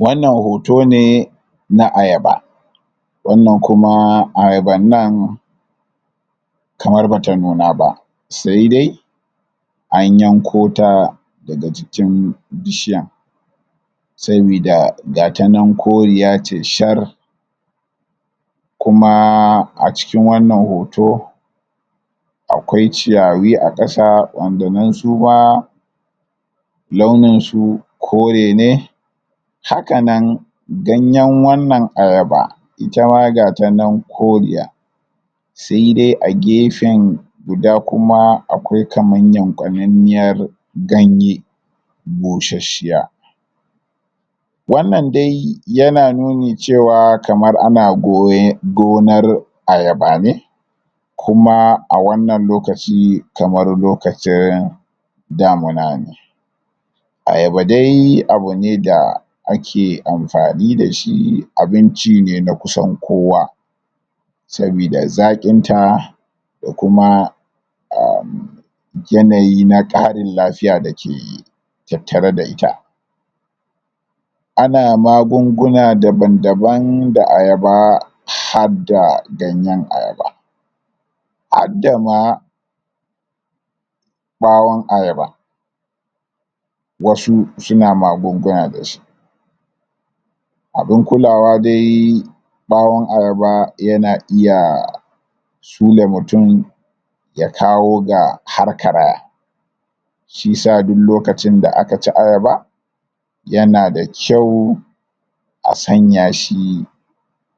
wannan hoto ne na ayaba wannan kuma ayaban nan kamar bata nuna ba sai dai a yanko ta daga cikin bishiyan sabida ga ta nan koriya ne shar kumaa a cikin wannan hoto akwai ciyawi a kasa wanda nan suma launinsu kore ne hakanan ganyen wannan ayaba itama ga ta nan koriya sai dai a gefen guda kuma akwai kamar yankwa nanniyar ganye bushasshiya wannan dai yana nuni cewa kamar ana goya gonar ayaba ne kumaa a wannan lokaci kamar lokacin damuna ne ayaba dai abune da da ake amfani dashi abin ci ne kusan kowa sabida zaqin ta da kuma [ummm] yanayi na karin lafiya dake tattare da ita ana magunguna daban daban da ayaba har da ganyen ayaba hadda ma bawon ayaba wasu suna magunguna da su abun kulawa dai bawon ayaba yana iyaa sule mutum ya kawo ga har karaya shiyasa duk lokacin da aka ci ayaba yana da kyau a sanya shi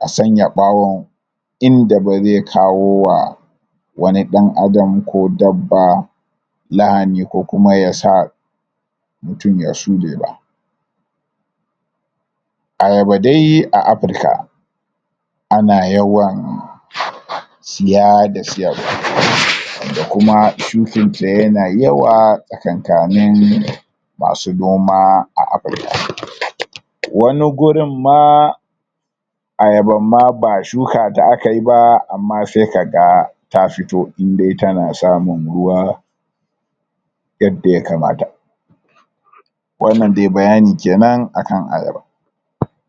a sanya bawon inda ba zai kawo wa wani dan adam ko dabba lahani ko kuma yasa mutum ya sule ba ayaba dai a afrika ana yawan siya da siyarwa da kuma shukin ta yana yawa tsakanka nin masu noma a afrika wani gurin ma ayaban ma ba shuka akayi ba amma sai ka ga ta fito in dai tana samun ruwa yadda ya kamata wannan dai bayani kenan akan ayaba?